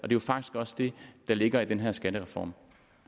jo faktisk også det der ligger i den her skattereform